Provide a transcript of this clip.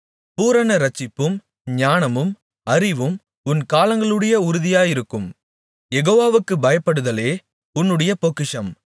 பூரண இரட்சிப்பும் ஞானமும் அறிவும் உன் காலங்களுடைய உறுதியாயிருக்கும் யெகோவாவுக்குப் பயப்படுதலே உன்னுடைய பொக்கிஷம்